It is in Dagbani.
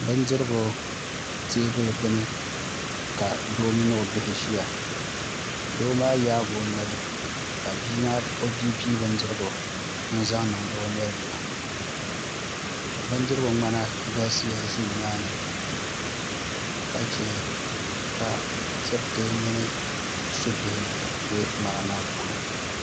Bindirigu teebuli gbuni ka doo mini o bihi ʒiya doo maa yaagi o noli ka o bia pii bindirigu n zaŋ niŋdi o noli ni na bindirigu ŋmana galisiya ʒi nimaani ka chɛ ka diriti mini subihi bɛ ŋmana maa puuni